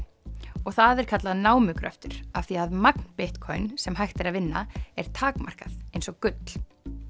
og það er kallað námugröftur af því að magn Bitcoin sem hægt er að vinna er takmarkað eins og gull